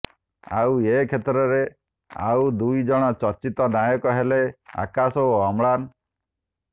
ଆଉ ଏକ୍ଷେତ୍ରରେ ଆଉ ଦୁଇ ଜଣ ଚର୍ଚ୍ଚିତ ନାୟକ ହେଲେ ଆକାଶ ଓ ଅମ୍ଳାନ